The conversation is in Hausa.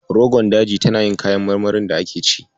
Rogon Daji tana yin ƴaƴan marmarin da ake ci.